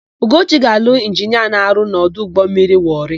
Ugochi ga-alụ injinia na-arụ n'ọdụ ụgbọmmiri Wọrị.